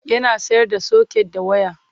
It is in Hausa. Yana sayar da soket da waya.